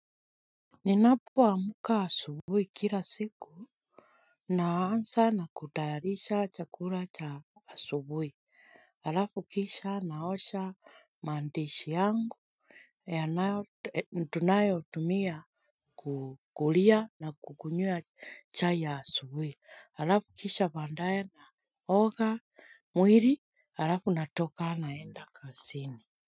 Ninapo amka asubuhi kila siku naanza na kutayarisha chakula cha asubuhi. Halafu kisha naosha madishi yangu tunayo tumia kukulia na kukunywia chai ya asubuhi. Halafu kisha baadaye naoga mwili. Halafu natoka naenda kazini Muzika.